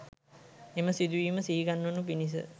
එම සිදුවීම සිහිගන්වනු පිණිස